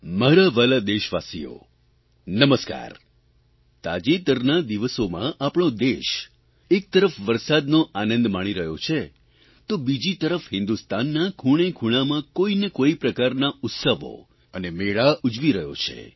મારા વ્હાલા દેશવાસીઓ નમસ્કાર તાજેતરના દિવસોમાં આપણો દેશ એકતરફ વરસાદનો આનંદ માણી રહ્યો છે તો બીજી તરફ હિંદુસ્તાનના ખૂણેખૂણામાં કોઇને કોઇ પ્રકારના ઉત્સવો અને મેળા ઉજવી રહ્યો છે